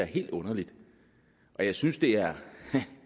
helt underligt og jeg synes det er